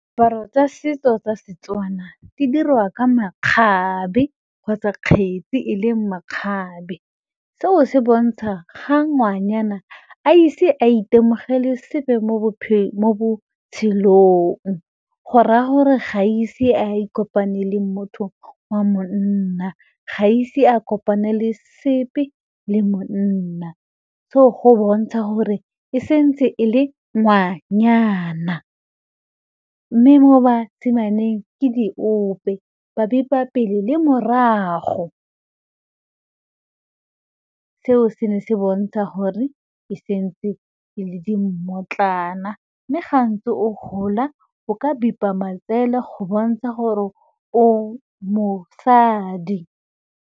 Paro tsa setso tsa seTswana di dirwa ka makgabe kgotsa kgetsi e leng makgabe seo se bontsha ga ngwanyana a ise a itemogele sepe mo botshelong, go raya gore ga ise a ikopanye le motho wa monna, ga ise a kopanele sepe le monna so go bontsha gore e santse e le ngwanyana mme mo basimanyaneng ke diope ba bipa pele le morago, seo se ne se bontsha gore e santse e le di mmotlana mme ga ntse o gola o ka bipa matsele go bontsha gore o mosadi.